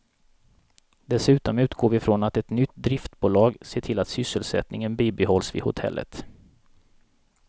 Dessutom utgår vi från att ett nytt driftbolag ser till att sysselsättningen bibehålls vid hotellet.